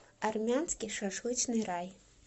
армянский шашлычный рай